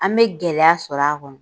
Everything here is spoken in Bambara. An bɛ gɛlɛya sɔrɔ a kɔnɔ.